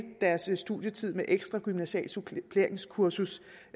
deres studietid med et ekstra gymnasialt suppleringskursus